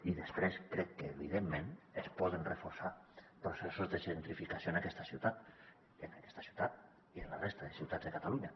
i després crec que evidentment es poden reforçar processos de gentrificació en aquesta ciutat en aquesta ciutat i en la resta de ciutats de catalunya